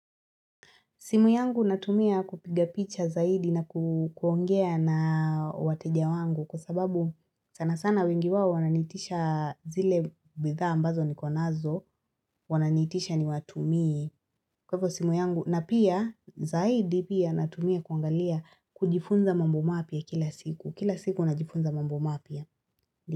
Simu yangu natumia kupiga picha zaidi na kuongea na wateja wangu kwa sababu sana sana wengi wao wananiitisha zile bidhaa ambazo niko nazo wananiitisha niwatumie kwa hivyo simu yangu na pia zaidi pia natumia kuangalia kujifunza mambo mapya kila siku kila siku najifunza mambo mapya.